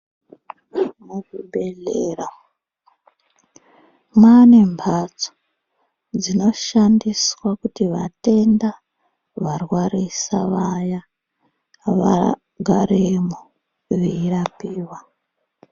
Muzvibhedhlera mwane mbatso dzinoshandisea kuti vatenda varwarisa vaya vagaremwo veirapiwa.